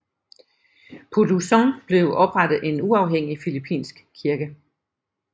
På Luzon blev oprettet en uafhængig filippinsk kirke